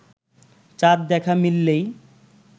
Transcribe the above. চাঁদ দেখা মিললেই